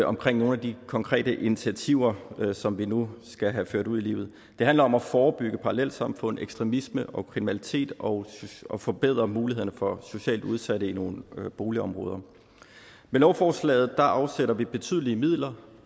omkring nogle af de konkrete initiativer som vi nu skal have ført ud i livet det handler om at forebygge parallelsamfund ekstremisme og kriminalitet og og forbedre mulighederne for socialt udsatte i nogle boligområder med lovforslaget afsætter vi betydelige midler